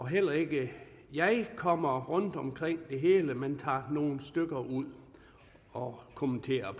heller ikke jeg kommer rundt omkring det hele men tager nogle stykker ud og kommenterer